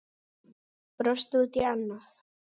Brosti út í annað.